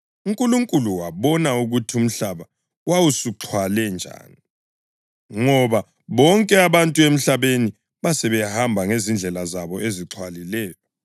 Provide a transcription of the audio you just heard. UNkulunkulu wabona ukuthi umhlaba wawusuxhwale njani, ngoba bonke abantu emhlabeni basebehamba ngezindlela zabo ezixhwalileyo.